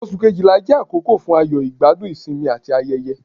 Ọ̀sù Kejìlá jẹ àkókò fún ayọ̀, igbadun, isinmi ati ayẹ̀yẹ̀,